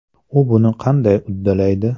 U buni qanday uddalaydi?